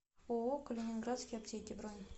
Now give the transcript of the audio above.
ооо калининградские аптеки бронь